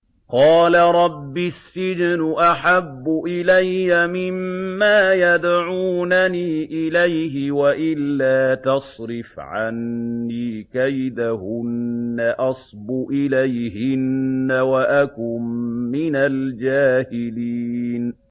قَالَ رَبِّ السِّجْنُ أَحَبُّ إِلَيَّ مِمَّا يَدْعُونَنِي إِلَيْهِ ۖ وَإِلَّا تَصْرِفْ عَنِّي كَيْدَهُنَّ أَصْبُ إِلَيْهِنَّ وَأَكُن مِّنَ الْجَاهِلِينَ